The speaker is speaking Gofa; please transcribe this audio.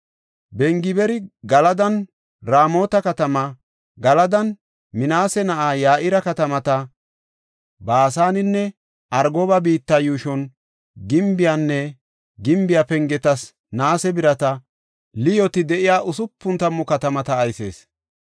Bengibeeri Galadan Raamota katama, Galadan Minaase na7aa Ya7ira katamata, Baasanen Argoba biittanne yuushon gimbeynne gimbe pengetas naase birata liyooti de7iya usupun tammu katamata aysees.